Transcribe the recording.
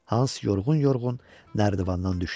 Hans yorğun-yorğun nərdivandan düşdü.